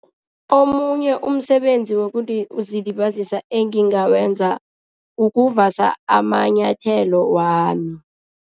Omunye umsebenzi wokuzilibazisa engingawenza, ukuvasa amanyathelo wami.